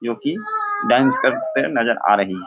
योकि dance करते नजर आ रही है।